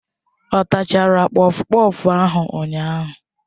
Ọ tachara kpọfkpọf ahụ ụnyahụ?